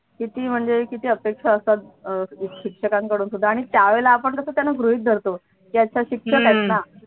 किती म्हणजे किती अपेक्षा असतात अं शिक्षकांकडून सुद्धा आणि त्यावेळेला आपण कस त्यांना गृहीत धरतो या तर शिक्षक आहेत न